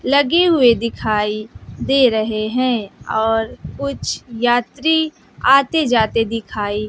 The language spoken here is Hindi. लगे हुए दिखाई दे रहे हैं और कुछ यात्री आते जाते दिखाई--